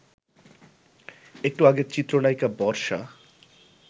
একটু আগে চিত্রনায়িকা বর্ষা